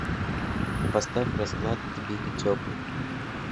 поставь расклад тбили теплый